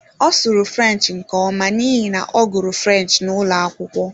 Ọ sụrụ French nke ọma n'ihi na ọ gụrụ French n'ụlọ akwụkwọ.